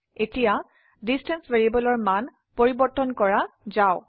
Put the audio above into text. এতিয়াdistance ভ্যাৰিয়েবলেৰ মান পৰিবৰ্তন কৰা যাওক